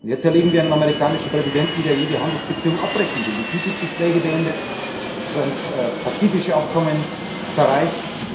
Jetzt erleben wir einen amerikanischen Präsidenten, der jede Handelsbeziehung abbrechen will, die TTIP Gespräche beendet, das transpazifische Abkommen zerreißt.